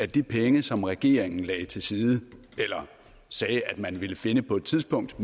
de penge som regeringen lagde til side eller sagde at den ville finde på et tidspunkt